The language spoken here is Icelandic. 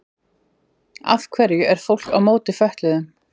af hverju er fólk á móti fötluðum